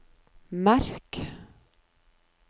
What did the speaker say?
merk